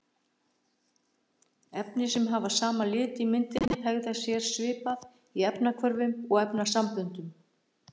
Efni sem hafa sama lit á myndinni hegða sér svipað í efnahvörfum og efnasamböndum.